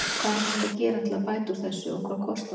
Hvað er hægt að gera til að bæta úr þessu og hvað kostar það?